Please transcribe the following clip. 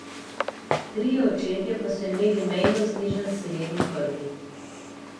Trije očetje pa so imeli mejno znižan selen v krvi.